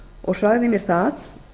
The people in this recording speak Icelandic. og sagði mér það